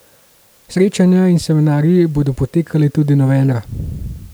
Srečanja in seminarji bodo potekali tudi novembra.